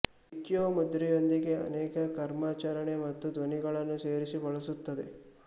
ಮಿಕ್ಯೋ ಮುದ್ರೆಯೊಂದಿಗೆ ಅನೇಕ ಕರ್ಮಾಚರಣೆ ಮತ್ತು ಧ್ವನಿಗಳನ್ನು ಸೇರಿಸಿ ಬಳಸುತ್ತದೆ